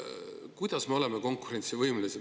Kuidas me oleme siis konkurentsivõimelised?